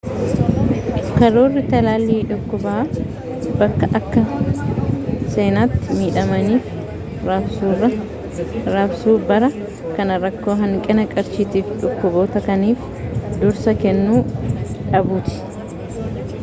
karoorri talaallii dhukkubaa bakka akka seenaatti midhamaniif raabsuubara kana rakkoo hanqina qarshiitiifi dhukkuboota kaaniif dursa kennu dhabuuti